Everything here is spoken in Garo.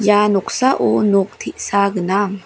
ah noksao nok te·sa gnang.